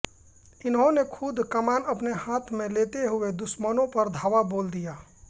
इन्होने खुद कमान अपने हाथ में लेते हुए दुश्मनों पर धावा बोल दिया